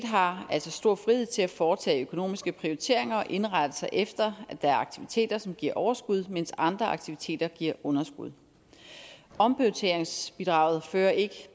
har altså stor frihed til at foretage økonomiske prioriteringer og indrette sig efter at der er aktiviteter som giver overskud mens andre aktiviteter giver underskud omprioriteringsbidraget fører ikke